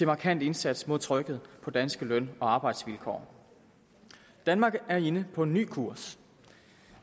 markant indsats mod trykket på danske løn og arbejdsvilkår danmark er inde på en ny kurs